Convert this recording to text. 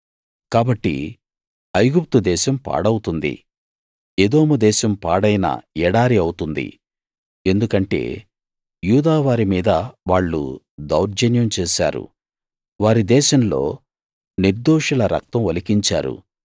కాబట్టి ఐగుప్తుదేశం పాడవుతుంది ఎదోము దేశం పాడైన ఎడారి అవుతుంది ఎందుకంటే యూదావారి మీద వాళ్ళు దౌర్జన్యం చేశారు వారి దేశంలో నిర్దోషుల రక్తం ఒలికించారు